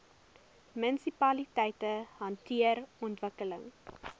munisipaliteite hanteer ontwikkeling